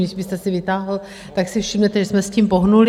Jestli jste si vytáhl, tak si všimnete, že jsme s tím pohnuli.